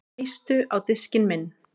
Eistu á diskinn minn